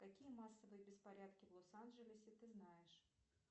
какие массовые беспорядки в лос анджелесе ты знаешь